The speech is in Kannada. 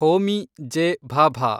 ಹೋಮಿ ಜೆ. ಭಾಭಾ